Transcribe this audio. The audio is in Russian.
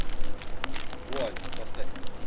вуаль поставь ка